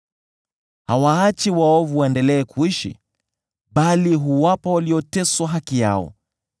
Hawaachi waovu waendelee kuishi, bali huwapa walioteswa haki yao.